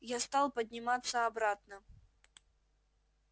я стал подниматься обратно